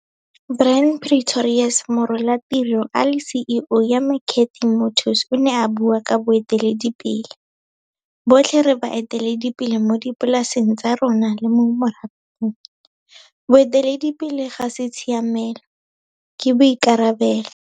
Brand Pretorius morolatiro a le CEO ya McCarthy Motors o ne a bua ka 'Boeteledipele'. Botlhe re baeteledipele mo dipolaseng tsa rona le mo morafeng. Boeteledipele ga se tshiamelo, ke boikarabelo.